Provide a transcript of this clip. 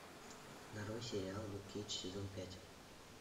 нарой сериал люк кейдж сезон пять